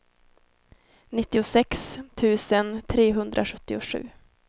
nittiosex tusen trehundrasjuttiosju